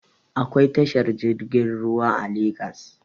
Akwai tashar jirgin ruwa a legas